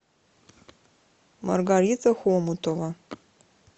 маргарита хомутова